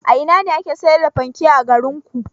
A ina ne ake sayar da fanke a garinku?